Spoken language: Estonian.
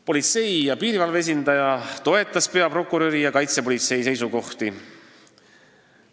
Politsei ja piirivalve esindaja toetas peaprokuröri ja kaitsepolitsei seisukohti.